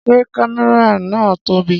Ṣé kámẹ́rà yan na tóbi?